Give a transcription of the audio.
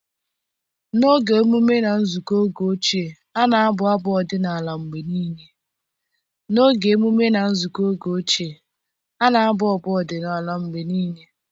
N'oge emume na nzukọ oge ochie, a na-abụ abụ odinala mgbe niile.